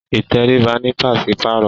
Ìtẹríba ní paṣipaarọ